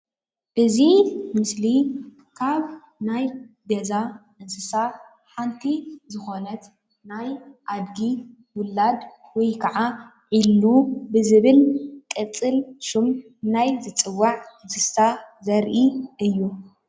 እዚ ምስሊ ካብ ናይ ገዛ እንስሳ ሓንቲ ዝኮነት ናይ ኣድጊ ዉላድ ወይ ከዓ ዒሉ ብዝብል ቅፅል ሽም ናይ ዝፅዋዕ እንስሳ ዘርኢ እዩ ።